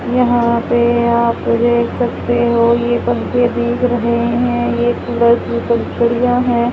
यहां पे आप देख सकते हो यह पंखे दिख रहे हैं यह सूरज की पंखुड़ियां हैं।